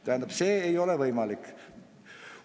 Tähendab, see ei ole võimalik.